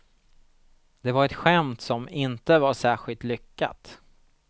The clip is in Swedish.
Det var ett skämt som inte var särskilt lyckat.